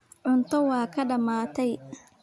Cunto waa kaa dhammaatay.